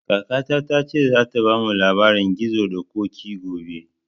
Kakata ta ce za ta bamu labarin gizo da koƙi gobe